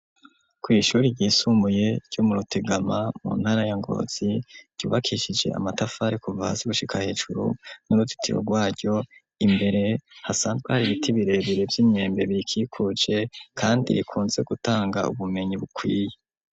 kwishuri ryisumuye ryo mu rutegama , mu ntara ya Ngozi , ryubakishije amatafari kuva hasi gushika hejuru , nuruzitiro rwaryo , imbere hasanzwe har 'ibiti birebere vy'imyembe birikikuje , kandi rikunze gutanga ubumenyi bukwiye.